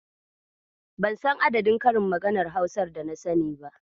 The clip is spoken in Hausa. Ban san adadin karin maganar Hausar dana sani ba.